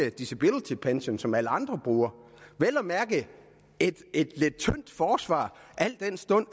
ikke disability pension som alle andre bruger det er et lidt tyndt forsvar al den stund